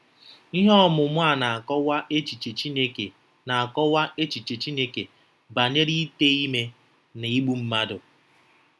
Ihe ọmụmụ a na-akọwa echiche Chineke na-akọwa echiche Chineke banyere ite ime na igbu mmadụ.